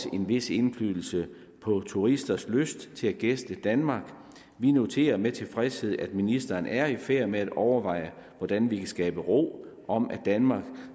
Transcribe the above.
en vis indflydelse på turisters lyst til at gæste danmark vi noterer med tilfredshed at ministeren er i færd med at overveje hvordan vi kan skabe ro om at danmark